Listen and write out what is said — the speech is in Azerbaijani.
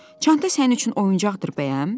Çanta sənin üçün oyuncaqdır bəyəm?